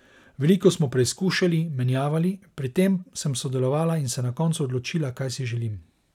Veliko smo preizkušali, menjavali, pri tem sem sodelovala in se na koncu odločila, kaj si želim.